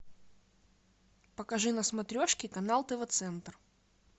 покажи на смотрешке канал тв центр